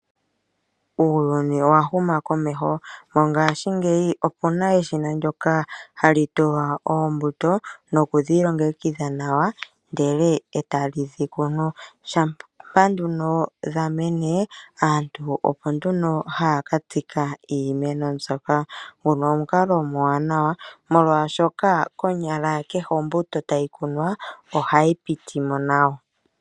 Uuyuni owa huma komeho. Mongashingeyi oku na eshina ndyoka hali tulwa oombuto, noku dhi longekidha nawa ndele e tali dhi kunu. Shampa nduno dha mene, aantu opo nduno haa ka tsika iimeno mbyoka. Nguno omukalo omwaanawa, molwashoka konyala kehe ombuto tayi kunwa ohayi piti mo nawa.